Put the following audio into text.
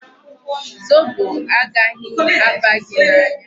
Zobo agaghị aba gị n'anya.